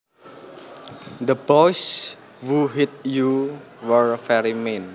The boys who hit you were very mean